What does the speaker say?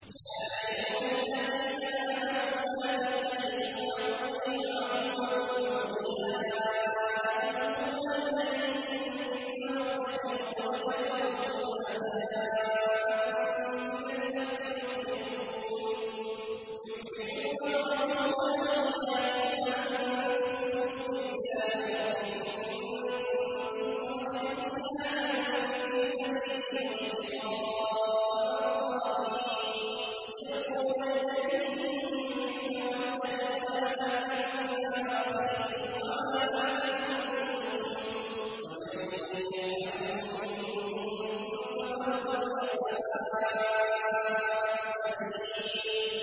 يَا أَيُّهَا الَّذِينَ آمَنُوا لَا تَتَّخِذُوا عَدُوِّي وَعَدُوَّكُمْ أَوْلِيَاءَ تُلْقُونَ إِلَيْهِم بِالْمَوَدَّةِ وَقَدْ كَفَرُوا بِمَا جَاءَكُم مِّنَ الْحَقِّ يُخْرِجُونَ الرَّسُولَ وَإِيَّاكُمْ ۙ أَن تُؤْمِنُوا بِاللَّهِ رَبِّكُمْ إِن كُنتُمْ خَرَجْتُمْ جِهَادًا فِي سَبِيلِي وَابْتِغَاءَ مَرْضَاتِي ۚ تُسِرُّونَ إِلَيْهِم بِالْمَوَدَّةِ وَأَنَا أَعْلَمُ بِمَا أَخْفَيْتُمْ وَمَا أَعْلَنتُمْ ۚ وَمَن يَفْعَلْهُ مِنكُمْ فَقَدْ ضَلَّ سَوَاءَ السَّبِيلِ